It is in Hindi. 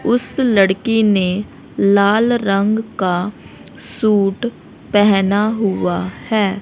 उस लड़की ने लाल रंग का सूट पहना हुआ है।